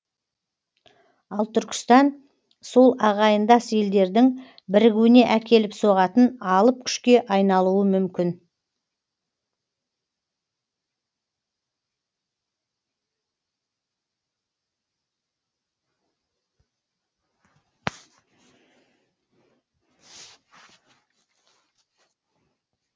ал түркістан сол ағайындас елдердің бірігуіне әкеліп соғатын алып күшке айналуы мүмкін